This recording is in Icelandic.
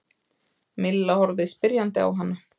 Milla horfði spyrjandi á hana.